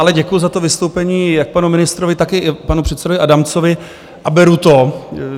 Ale děkuju za to vystoupení jak panu ministrovi, tak i panu předsedovi Adamcovi, a beru to.